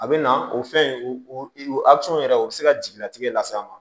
A bɛ na o fɛn in o yɛrɛ o bɛ se ka jigilatigɛ lase a ma